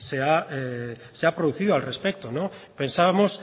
se ha producido al respecto pensábamos